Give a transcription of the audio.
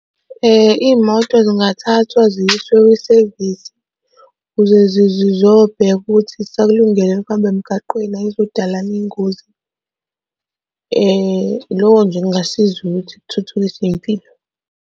Iy'moto zingathathwa ziyiswe kwisevisi ukuze zizobhekwa ukuthi zisakulungele yini ukuhamba emgaqweni ayizukudala yini iy'ngozi. Loko nje kungasiza ukuthi kuthuthukise iy'mpilo.